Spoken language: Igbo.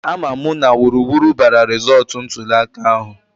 A ma mụ na wuruwuru bara rizọọtụ ntụliaka ahụ